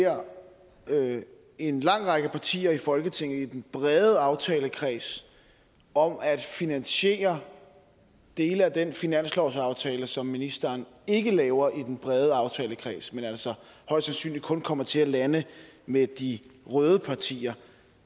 her beder en lang række partier i folketinget i den brede aftalekreds om at finansiere dele af den finanslovsaftale som ministeren ikke laver i den brede aftalekreds men altså højst sandsynligt kun kommer til at lande med de røde partier